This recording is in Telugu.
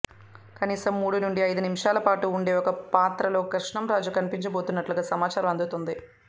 కనీసం మూడు నుండి అయిదు నిమిషాల పాటు ఉండే ఒక పాత్రలో కృష్ణం రాజు కనిపించబోతున్నట్లుగా సమాచారం అందుతుంది